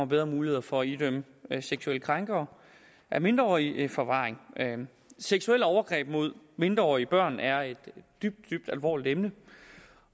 bedre muligheder for at idømme seksuelle krænkere af mindreårige forvaring seksuelle overgreb mod mindreårige børn er et dybt dybt alvorligt emne